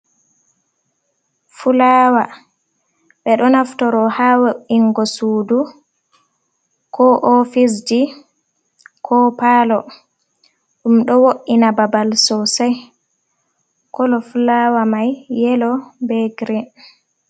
Fulawa ɓeɗo nafturo ha wo’ingo sudu ko ofisji ko palo. Ɗum ɗo wo’ina babal sosai kolo fulawa mai yelo be girin.